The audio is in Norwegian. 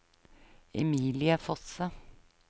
Emilie Fosse